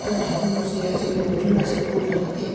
এখানে ঠাকুরমশাই আছে। লোকজন আসে পুজো দিতে ।